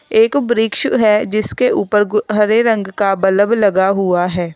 एक वृक्ष है जिसके ऊपर गु हरे रंग का बलब लगा हुआ है।